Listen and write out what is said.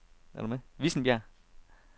Vissenbjerg